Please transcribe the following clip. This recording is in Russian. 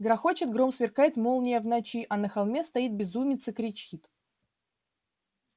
грохочет гром сверкает молния в ночи а на холме стоит безумец и кричит